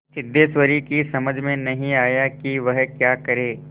सिद्धेश्वरी की समझ में नहीं आया कि वह क्या करे